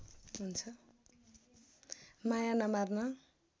माया नमार्न